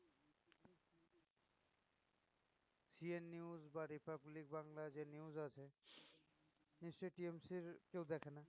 CN news বা Republic Bangla যে news আছে নিশ্চই TMC এর কেউ দেখেনা